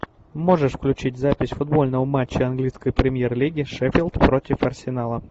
можешь включить запись футбольного матча английской премьер лиги шеффилд против арсенала